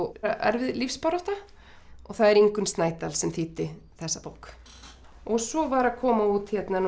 erfið lífsbarátta það er Ingunn Snædal sem þýddi þessa bók svo var að koma út